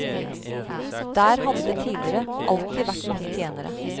Der hadde det tidligere alltid vært mange tjenere.